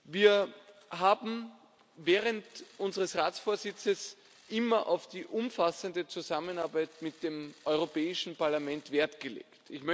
Wir haben während unseres Ratsvorsitzes immer auf die umfassende Zusammenarbeit mit dem Europäischen Parlament Wert gelegt.